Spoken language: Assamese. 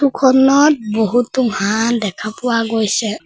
খনত বহুতো হাঁহ দেখা পোৱা গৈছে।